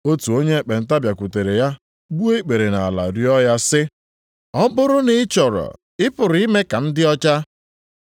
Otu onye ekpenta bịakwutere ya gbuo ikpere nʼala rịọọ ya sị, “Ọ bụrụ na ị chọrọ, ị pụrụ ime ka m dị ọcha.”